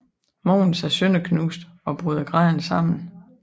Måvens er sønderknust og bryder grædende sammen